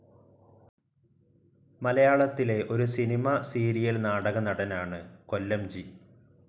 മലയാളത്തിലെ ഒരു cinema, serial, നാടക നടനാണ് കൊല്ലംജി.